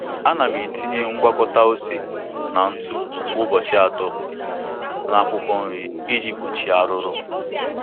Ana m etinye ngwakọta ose na ntụ kwa ụbọchị atọ na akwụkwọ nri iji gbochie arụrụ.